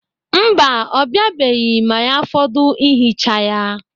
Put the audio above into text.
Mba, ọ biabeghị ma ya fọdụ ihicha ya.